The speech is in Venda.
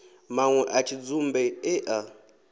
manwe a tshidzumbe e a